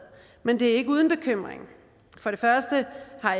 men det er ikke uden bekymring